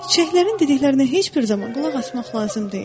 Çiçəklərin dediklərinə heç bir zaman qulaq asmaq lazım deyil.